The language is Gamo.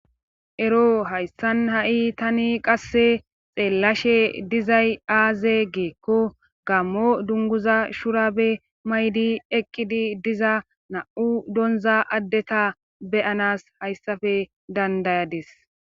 Ero hayssan ha7i tani qasse xeellashe dizay aaze geekko gammo dunguza shurabe maydi eqqidi diza na7u donza addeta beyanas hayssafe dandayadis.